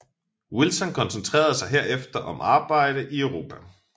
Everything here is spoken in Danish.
Wilson koncentrerede sig herefter om arbejde i Europa